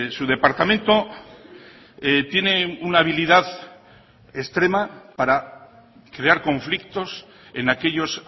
su departamento tiene una habilidad extrema para crear conflictos en aquellos